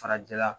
Farajɛla